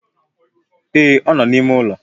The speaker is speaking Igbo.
Ee, ọ nọ na-ime ụlọ